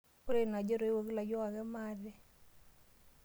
Ore ina aji etoiwoki ilayiok ake maate.